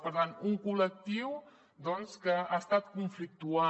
per tant un col·lectiu que ha estat conflictuant